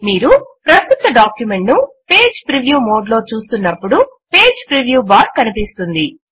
మీరు ప్రస్తుత డాక్యుమెంట్ ను పేజ్ ప్రివ్యూ మోడ్ లో చూస్తున్నప్పుడు పేజ్ ప్రివ్యూ బార్ కనిపిస్తుంది